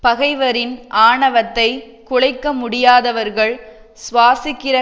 பகைவரின் ஆணவத்தைக் குலைக்க முடியாதவர்கள் சுவாசிக்கிற